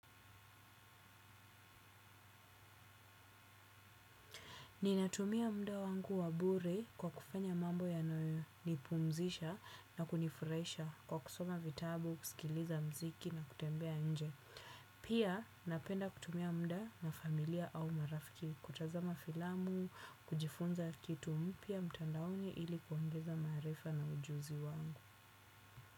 Ninatumia muda wangu wabure kwa kufanya mambo yanayo nipumzisha na kunifurahisha kwa kusoma vitabu, kusikiliza muziki na kutembea nje. Pia napenda kutumia muda na familia au marafiki kutazama filamu, kujifunza kitu mpya mtandaoni ili kuongeza maarifa na ujuzi wangu.